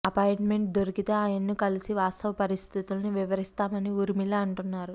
appointment దొరికితే ఆయన్ను కలిసి వాస్తవ పరిస్థితుల్ని వివరిస్తామని ఊర్మిళ అంటున్నారు